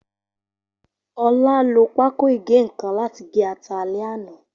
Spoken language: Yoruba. Ola lo pákòìgé-nnkan lati ge ata alẹ ana